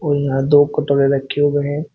और यहां दो कटोरे रखें हुए हैं।